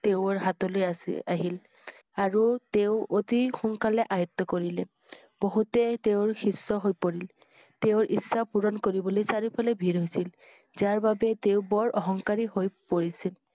তেওঁৰ হাতলৈ আছিল~আহিল আৰু তেওঁ অতি সোনকালে আয়ত্ত কৰিলে । বহুতে তেওঁৰ শিষ্য হৈ পৰিল। তেওঁৰ ইচ্ছা পূৰণ কৰিবলৈ চাৰিও ফালে ভিৰ হৈছিল। যাৰ বাবে তেওঁৰ বৰ অহংকাৰী হৈ পৰিছিল।